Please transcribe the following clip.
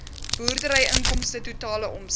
boerderyinkomste totale omset